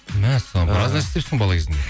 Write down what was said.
мәссаған біраз нәрсе істепсің бала кезіңде